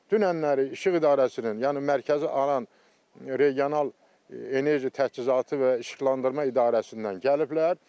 Dünənləri İşıq İdarəsinin, yəni Mərkəzi Aran Regional Enerji Təchizatı və İşıqlandırma İdarəsindən gəliblər.